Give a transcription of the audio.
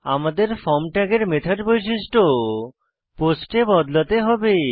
আমাদের ফর্ম ট্যাগের মেথড বৈশিষ্ট্য পোস্ট এ বদলাতে হবে